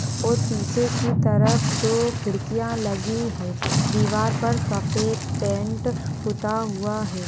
और पीछे की तरफ दो खिड़कियां लगी हैं दीवार पर सफ़ेद पेंट पुता हुआ है।